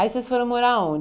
Aí vocês foram morar